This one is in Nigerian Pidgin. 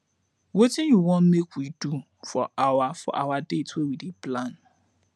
wetin you wan make we do for our for our date wey we dey plan